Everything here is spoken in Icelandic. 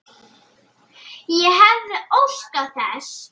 Ég hefði óskað þess.